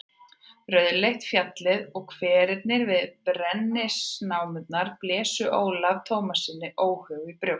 Rauðleitt fjallið og hverirnir við brennisteinsnámurnar blésu Ólafi Tómassyni óhug í brjóst.